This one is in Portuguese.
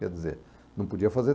Quer dizer, não podia fazer